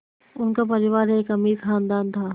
उनका परिवार एक अमीर ख़ानदान था